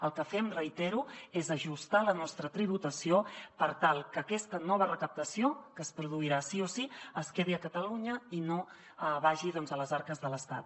el que fem ho reitero és ajustar la nostra tributació per tal que aquesta nova recaptació que es produirà sí o sí es quedi a catalunya i no vagi doncs a les arques de l’estat